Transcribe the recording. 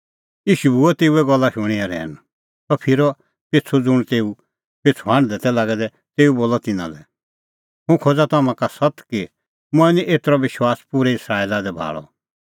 ईशू बी हुअ तेऊए गल्ला शूणीं रहैन सह फिरअ पिछ़ू और ज़ुंण तेऊ पिछ़ू हांढदै तै लागै दै तेऊ बोलअ तिन्नां लै हुंह खोज़ा तम्हां का सत्त कि मंऐं निं एतरअ विश्वास पूरै इस्राएला दी भाल़अ